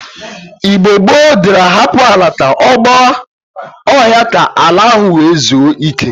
Igbo gboo diri ahapụ ala ka ọ gba ọhịa ka ala ahụ nwe zue ike.